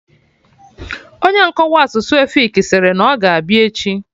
Onye nkọwa asụsụ efik sịrị na ọ ga-abịa echi